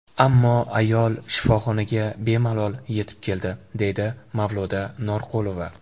Ammo ayol shifoxonaga bemalol yetib keldi”, deydi Mavluda Norqulova.